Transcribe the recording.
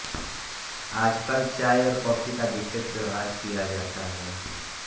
आजकल चाय और कॉफी का विशेष व्यवहार किया जाता है